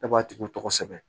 E b'a tigiw tɔgɔ sɛbɛn